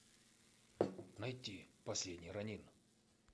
найти последний ронин